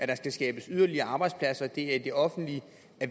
der skal skabes yderligere arbejdspladser og det er i det offentlige